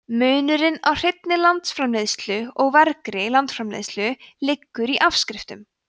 munurinn á hreinni landsframleiðslu og vergri landsframleiðslu liggur í afskriftum